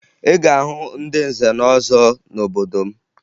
Ị ga-ahụ ndị nze na ọzọ n'obodo m